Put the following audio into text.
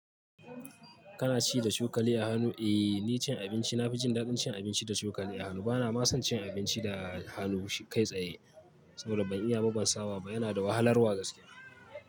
Kana ci da cokali a hannu? Eh, ni cin abinci na fi jin daɗin cin abinci da cokali a hannu. Bana ma son cin abinci da hannu kai tsaye saboda ban iya ba ban saba ba. Yana da wahalarwa gaskiya.